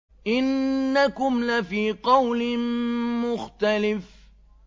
إِنَّكُمْ لَفِي قَوْلٍ مُّخْتَلِفٍ